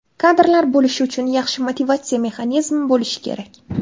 Kadrlar bo‘lishi uchun yaxshi motivatsiya mexanizmi bo‘lishi kerak.